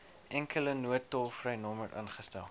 enkele noodtolvrynommer ingestel